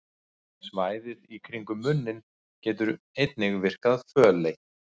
Svæðið í kringum munninn getur einnig virkað fölleitt.